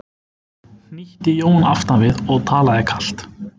hnýtti Jón aftan við og talaði kalt.